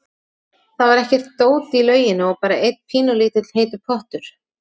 Það var ekkert dót í lauginni og bara einn pínulítill heitur pottur.